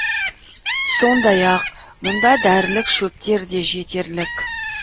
сондай ақ мұнда дәрілік шөптер де жетерлік